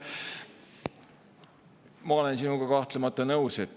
Ma olen sinuga kahtlemata nõus.